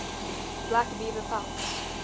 black beaver pelts